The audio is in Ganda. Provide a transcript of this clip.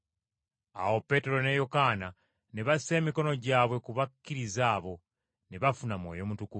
Awo Peetero ne Yokaana ne bassa emikono gyabwe ku bakkiriza abo, ne bafuna Mwoyo Mutukuvu.